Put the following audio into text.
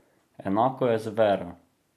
Enako je z vero.